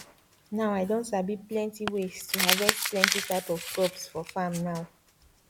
now i don sabi plenty ways to harvest plenty type of crops for farm now